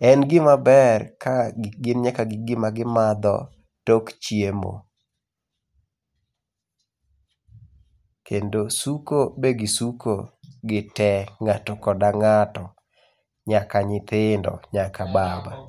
En gima ber ka gin nyaka gi gima gimadho tok chiemo. Kendo suko, be gisuko gitee ng'ato koda ng'ato nyaka nyithindo nyaka baba.